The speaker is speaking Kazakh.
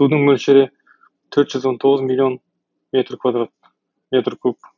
суының мөлшері төрт жүз он тоғыз миллион метр куб